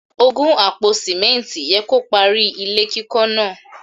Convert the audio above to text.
Ògùn àpò Símẹ́ǹtì yẹ kó parí ilé kíkọ́ náà.